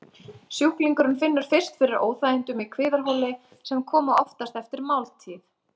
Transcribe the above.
Sjúklingurinn finnur fyrst fyrir óþægindum í kviðarholi, sem koma oftast eftir máltíð.